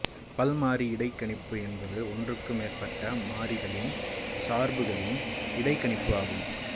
பல்மாறி இடைக்கணிப்பு என்பது ஒன்றுக்கு மேற்பட்ட மாறிகளின் சார்புகளின் இடைக்கணிப்பு ஆகும்